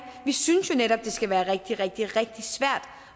vi synes netop at det skal være rigtig rigtig rigtig svært